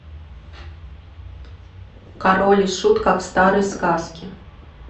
король и шут как в старой сказке